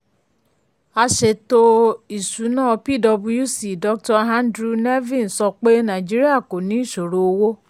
um aṣètò-ìsúná pwc dr andrew nevin sọ pé nàìjíríà kò ní ìṣòro owó.